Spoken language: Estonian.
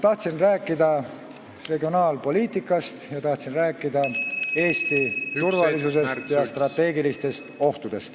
Tahtsin rääkida regionaalpoliitikast ning tahtsin rääkida Eesti turvalisusest ja strateegilistest ohtudest.